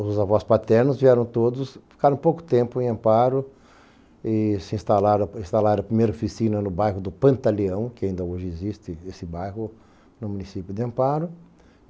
Os avós paternos vieram todos, ficaram pouco tempo em Amparo se instalaram instalaram primeira oficina no bairro do Pantaleão, que ainda hoje existe esse bairro no município de Amparo.